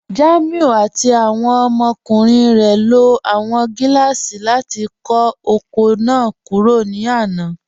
Jàmíù àti awọn ọmọkùnrin rẹ ló awọn gilaasì láti kọ oko náà kúrò ní àná.